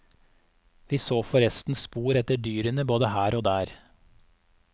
Vi så forresten spor etter dyrene både her og der.